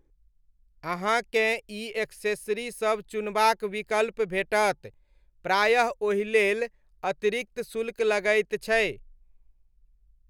अहाँकेँ ई एक्सेसरीसब चुनबाक विकल्प भेटत, प्रायः ओहिलेल अतिरिक्त शुल्क लगैत छै।